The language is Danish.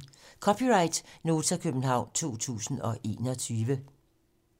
(c) Nota, København 2021